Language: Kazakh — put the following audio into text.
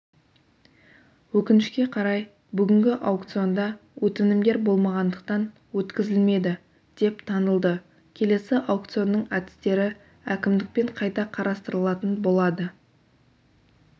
өкінішке қарай бүгінгі аукционда өтінімдер болмағандықтан өткізілмеді деп танылды келесі аукционның әдістері әкімдікпен қайта қарастырылатын болады